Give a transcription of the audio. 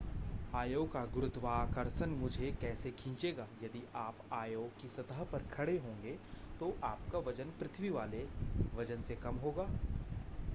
आयो का गुरुत्वाकर्षण मुझे कैसे खींचेगा यदि आप आयो की सतह पर खड़े होंगे तो आपका वजन पृथ्वी वाले वजन से कम होगा